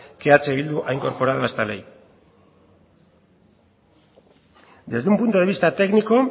que eh bildu ha incorporado a esta ley desde un punto de vista técnico